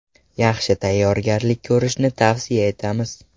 Yaxshi tayyorgarlik ko‘rishni tavsiya etamiz.